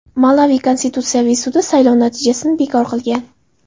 Malavi Konstitutsiyaviy sudi saylovlar natijasini bekor qilgan.